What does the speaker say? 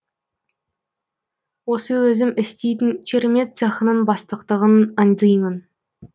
осы өзім істейтін чермет цехының бастықтығын аңдимын